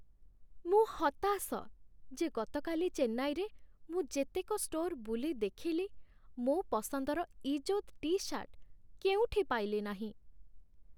ମୁଁ ହତାଶ ଯେ ଗତକାଲି ଚେନ୍ନାଇରେ ମୁଁ ଯେତେକ ଷ୍ଟୋର୍ ବୁଲି ଦେଖିଲି ମୋ' ପସନ୍ଦର ଇଜୋଦ୍ ଟି ସାର୍ଟ୍ କେଉଁଠି ପାଇଲି ନାହିଁ।